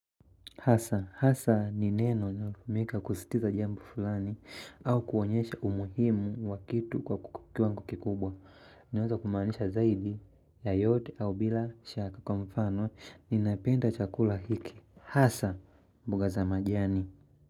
Hasa, hasa ni neno linalotumika kusisitiza jambo fulani au kuonyesha umuhimu wa kitu kwa kukukiwango kikubwa. Inaweza kumaanisha zaidi ya yote au bila shaka kwa mfano ninapenda chakula hiki. Hasa, mbuga za majiani.